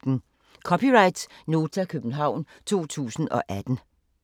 (c) Nota, København 2018